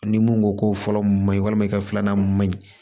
Ni mun ko ko fɔlɔ ma ɲi walima i ka filanan ma ɲi